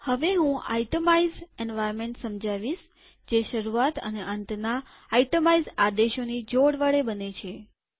હવે હું itemize environment સમજાવીશ જે શરૂઆત અને અંતના આઈટમાઈઝ આદેશોની જોડ વડે બને છે